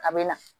A bɛ na